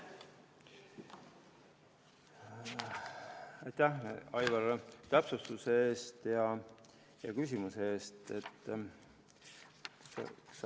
Aitäh, Aivar, täpsustuse ja küsimuse eest!